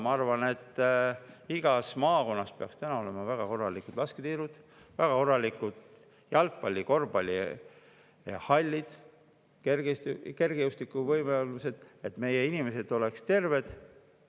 Ma arvan, et igas maakonnas peaks olema väga korralikud lasketiirud, väga korralikud jalgpalli‑ ja korvpallihallid ning kergejõustiku võimalused, et meie inimesed oleksid terved.